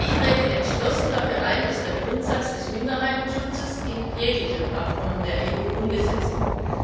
Ich trete entschlossen dafür ein, dass der Grundsatz des Minderheitenschutzes in jeglichem Abkommen der EU umgesetzt wird.